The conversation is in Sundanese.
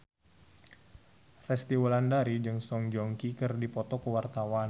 Resty Wulandari jeung Song Joong Ki keur dipoto ku wartawan